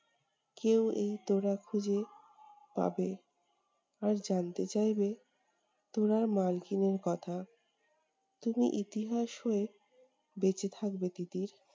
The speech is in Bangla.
কেউ এই তোরা খুঁজে পাবে, আর জানতে চাইবে তোড়ার মালকিনের কথা। তুমি ইতিহাস হয়ে বেঁচে থাকবে তিতির।